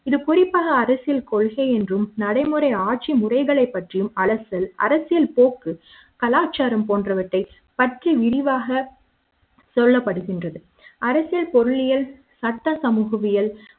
இது குறிப்பாக அரசியல் கொள்கை என்றும் நடைமுறை ஆட்சி முறைகளைப் பற்றிய அலசல் அரசியல் போக்கு கலாச்சார ம் போன்றவற்றை பற்றிய விரிவான சொல்லப்படுகின்றது. அரசியல் பொருளியல் சட்டசமூக வியல்